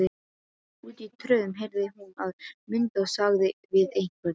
Úti í tröðum heyrði hún að Munda sagði við einhvern